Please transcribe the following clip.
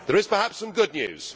there is perhaps some good news.